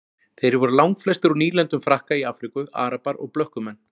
Þeir voru langflestir úr nýlendum Frakka í Afríku, arabar og blökkumenn.